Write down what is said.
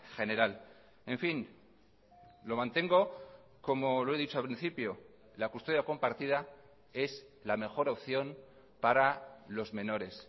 general en fin lo mantengo como lo he dicho al principio la custodia compartida es la mejor opción para los menores